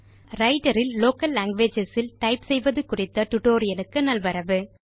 Writer ல் local languages ல் type செய்வது குறித்த டுடோரியலுக்கு நல்வரவு